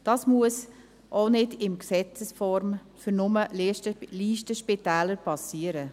Dies muss auch nicht in Gesetzesform nur für Listenspitäler erfolgen.